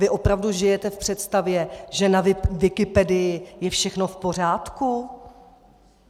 Vy opravdu žijete v představě, že na Wikipedii je všechno v pořádku?